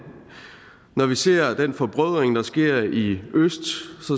når vi ser den forbrødring der sker i øst